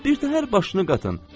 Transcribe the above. Birtəhər başını qatın,